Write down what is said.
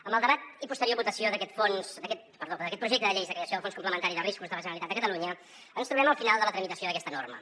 amb el debat i posterior votació d’aquest projecte de llei de creació del fons complementari de riscos de la generalitat de catalunya ens trobem al final de la tramitació d’aquesta norma